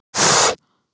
Það var komið að því.